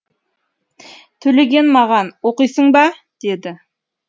төлеген маған оқисың ба деді